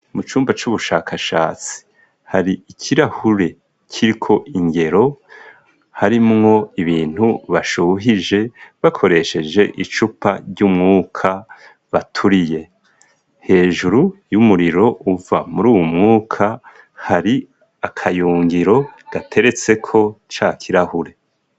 Mu cumba c'ubushakashatsi hari ikirahuri kiriko ingero, harimwo ibintu bashuhije bakoresheje icupa ry'umwuka baturiye. Hejuru y'umuriro uva muri uwo mwuka, hari akayungiro gateretseko ca kirahuri.